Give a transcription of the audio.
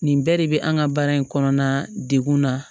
Nin bɛɛ de bɛ an ka baara in kɔnɔna degun na